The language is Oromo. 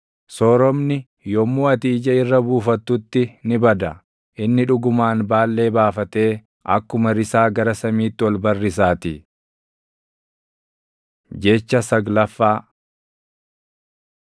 Sooromni yommuu ati ija irra buufattutti ni bada; inni dhugumaan Baallee baafatee akkuma risaa gara samiitti ol barrisaatii. Jecha saglaffaa